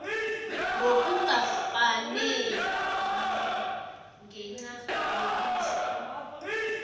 ngokungakafaneli ngenca yobuzwe